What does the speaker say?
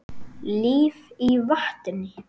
Líf í vatni.